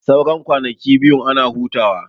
Sannan kwanakin biyun ana hutawa